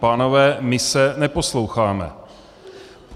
Pánové, my se neposloucháme.